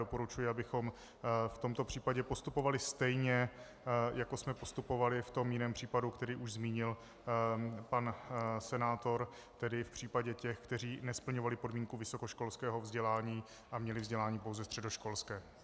Doporučuji, abychom v tomto případě postupovali stejně, jako jsme postupovali v tom jiném případě, který už zmínil pan senátor, tedy v případě těch, kteří nesplňovali podmínku vysokoškolského vzdělání a měli vzdělání pouze středoškolské.